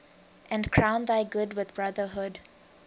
and crown thy good with brotherhood